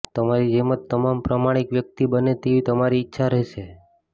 તમારી જેમ જ તમામ પ્રામાણિક વ્યક્તિ બને તેવી તમારી ઈચ્છા રહેશે